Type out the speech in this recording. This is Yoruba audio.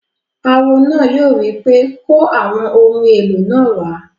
Awo náà yóò wí pé "kó àwọn ohun èlò náà wá!"